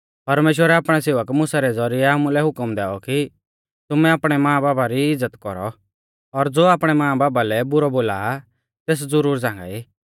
परमेश्‍वरै आपणै सेवक मुसा रै ज़ौरिऐ आमुलै हुकम दैऔ कि तुमै आपणै मांबापा री इज़्ज़त कौरौ और ज़ो आपणै मांबापा लै बुरौ बोलालौ तेस लोग ज़ुरुर मारा ई